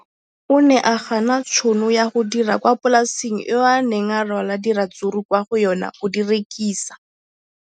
O ne a gana tšhono ya go dira kwa polaseng eo a neng rwala diratsuru kwa go yona go di rekisa.